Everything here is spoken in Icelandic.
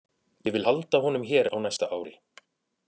Ég vil halda honum hér á næsta ári.